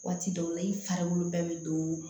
Waati dɔw la i fari bɛɛ bɛ don